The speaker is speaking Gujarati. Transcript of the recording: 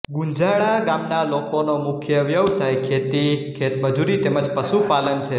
ગુંજાળા ગામના લોકોનો મુખ્ય વ્યવસાય ખેતી ખેતમજૂરી તેમ જ પશુપાલન છે